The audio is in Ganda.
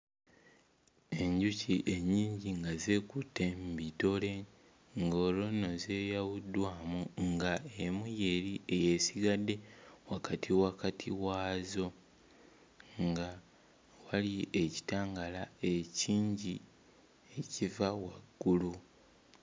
Enjuki ennyingi nga zeekutte mu bitole ng'olwo nno zeeyawuddwamu ng'emu y'eri ey'esigadde wakati wakati waazo nga wali ekitangaala ekingi ekiva waggulu.